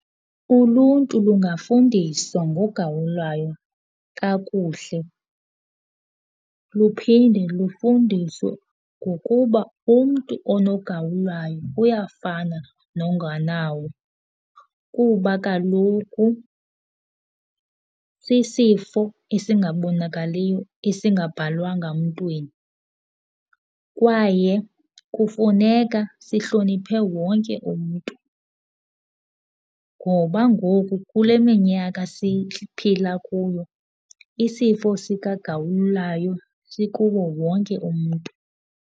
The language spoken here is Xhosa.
Uluntu lungafundiswa ngogawulayo kakuhle luphinde lufundiswe ngokuba umntu onogawulayo uyafana nongenawo, kuba kaloku sisifo esingabonakaliyo esingabhalwanga mntwini. Kwaye kufuneka sihloniphe wonke umntu ngoba ngoku kule minyaka siphila kuyo isifo sikagawulayo sikuwo wonke umntu.